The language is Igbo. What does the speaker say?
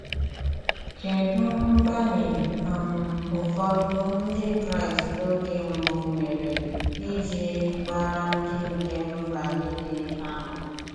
Kedụ mgbalị um ụfọdụ Ndị Kraịst oge mbụ mere iji gbaara ndị nke mba nile àmà?